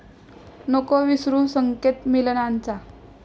नको विसरू संकेत मिलनाचा